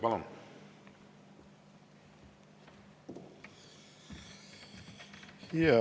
Palun!